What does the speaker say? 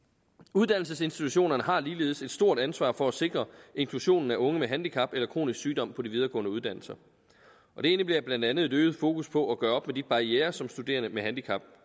uddannelsesinstitutionerne har ligeledes et stort ansvar for at sikre inklusionen af unge med handicap eller kronisk sygdom på de videregående uddannelser og det indebærer blandt andet et øget fokus på at gøre op med de barrierer som studerende med handicap